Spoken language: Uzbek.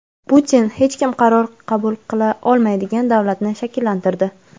Putin hech kim qaror qabul qila olmaydigan davlatni shakllantirdi.